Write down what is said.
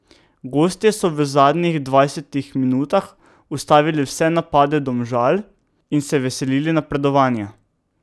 Gostje so v zadnjih dvajsetih minutah ustavili vse napade Domžal in se veselili napredovanja.